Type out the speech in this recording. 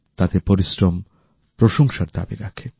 তাদের পরিশ্রম প্রশংসার দাবি রাখে